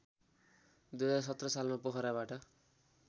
२०१७ सालमा पोखराबाट